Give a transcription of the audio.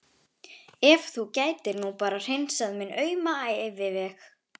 Ef þú gætir nú bara hreinsað minn auma æviveg.